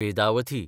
Vedavathi